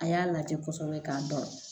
A y'a lajɛ kɔsɛbɛ k'a dɔn